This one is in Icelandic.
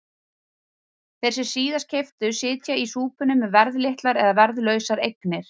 Þeir sem síðast keyptu sitja í súpunni með verðlitlar eða verðlausar eignir.